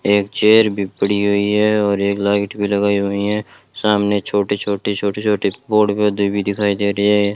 एक चेयर भी पड़ी हुई है और एक लाइट भी लगाई हुई हैं सामने छोटे छोटे छोटे छोटे बोर्ड पर देवी दिखाई दे रही है।